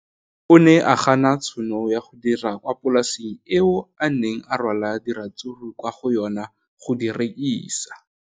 O ne a gana tšhono ya go dira kwa polaseng eo a neng rwala diratsuru kwa go yona go di rekisa.